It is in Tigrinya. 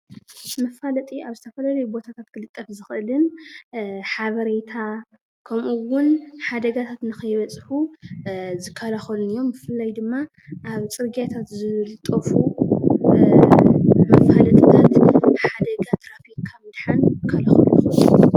መፋለጢ ኣብ ዝተፈላለየ ቦታታት ክልጠፍ ዝክእልን ሓበሬታ ከምኡ እውን ሓደጋታት ንከይበፅሑ ዝከላከሉን እዮም። ብፍላይ ድማ ኣብ ፅርግያታት ዝጠፍኡ መፋለጥታት ሓደጋ ትራፊክ ካብ ምድሓን ክከላከሉ ይክእሉ እዮም።